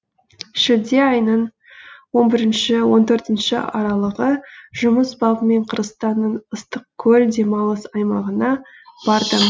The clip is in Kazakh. шілде айының он бірінші он төртінші аралығы жұмыс бабымен қырғызстанның ыстықкөл демалыс аймағына бардым